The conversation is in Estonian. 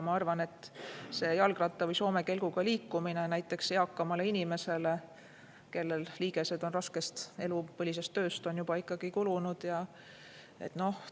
Ma arvan, et jalgratta või soome kelguga liikumine näiteks eakale inimesele, kellel liigesed on raskest elupõlisest tööst kulunud,.